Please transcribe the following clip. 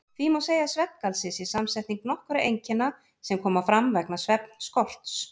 Því má segja að svefngalsi sé samsetning nokkurra einkenna sem koma fram vegna svefnskorts.